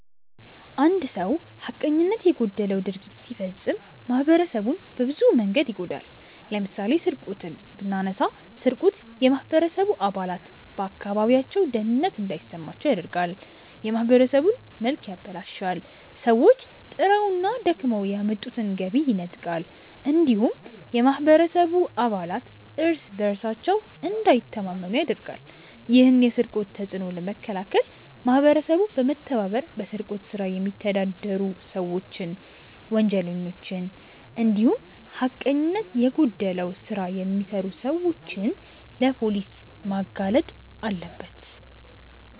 አንድ ሰው ሀቀኝነት የጎደለው ድርጊት ሲፈጽም ማህበረሰቡን በብዙ መንገድ ይጎዳል። ለምሳሌ ስርቆትን ብናነሳ ስርቆት የማህበረሰቡ አባላት በአካባቢያቸው ደህንነት እንዳይሰማቸው ያደርጋል፣ የማህበረሰቡን መልክ ያበላሻል፣ ሰዎች ጥረውና ደክመው ያመጡትን ገቢ ይነጥቃል እንዲሁም የማህበረሰቡ አባላት እርስ በእርሳቸው እንዳይተማመኑ ያደርጋል። ይህን የስርቆት ተጽዕኖ ለመከላከል ማህበረሰቡ በመተባበር በስርቆት ስራ የሚተዳደሩ ሰዎችን፣ ወንጀለኞችን እንዲሁም ሀቀኝነት የጎደለው ስራ የሚሰሩ ሰዎችን ለፖሊስ ማጋለጥ አለበት።